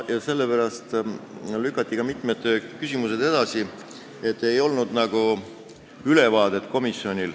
Mitmed küsimused lükati edasi, sest komisjonil ei olnud ülevaadet.